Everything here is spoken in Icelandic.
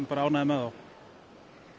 er ánægður með þá